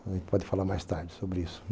A gente pode falar mais tarde sobre isso.